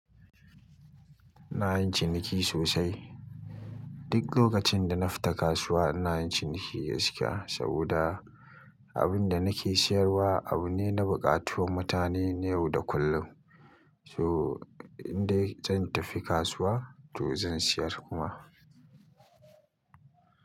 iNa yin ciniki sosai. Duk lokacin da na fita kasuwa ina yin ciniki gaskiya saboda abin da nake siyarwa abu ne na buƙatuwanmutane yau da kullum. So indai zan tafi kasuwa to zan siyar kuma.